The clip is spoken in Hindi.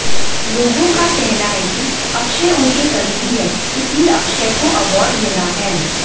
लोगों का कहना है कि अक्षय उनके करीबी हैं इसलिए अक्षय को अवॉर्ड मिला है